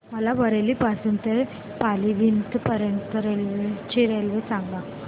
मला बरेली पासून तर पीलीभीत पर्यंत ची रेल्वे सांगा